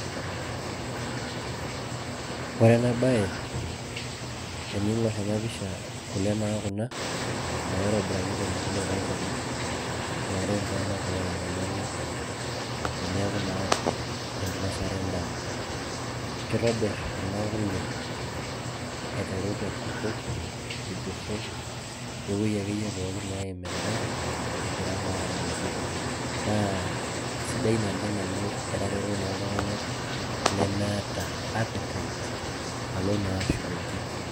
ore ena bae, teningor ena pisha, kule naa kuna naitobiraki te mpukunoto olchani. naaret iltungana oota enyamali teneeku naa enkinosare edaa. kitobir kuna kule aiteru te nkutuk, irgoso, we wueji akeyie neeim edaa, egira naa adoyio. naa isidai oleng amu etareto naa iltunganak leemeeta appetite alo naa ashukoki.